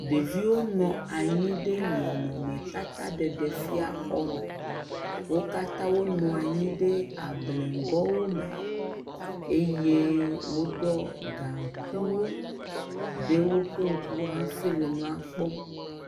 Ɖeviwo ne anyi ɖe nɔnɔmetataɖeɖefia xɔ me, wo katã wonɔ anyi ɖe ableŋgɔ me eye woɖiɔ gaŋkuiwo hãfi le nua kpɔm.